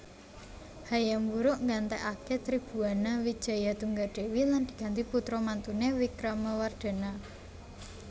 Hayam Wuruk nggantèkaké Tribhuwana Wijayatunggadewi lan diganti putra mantuné Wikramawardhana